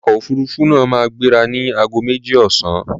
Ọkọ̀ òfuruufú náà máa gbéra ní ago méjì ọ̀sán.